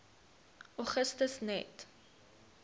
augustus net